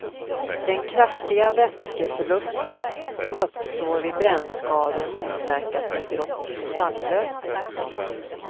Den kraftiga vätskeförlust som uppstår vid brännskador motverkas med dropp med saltlösning.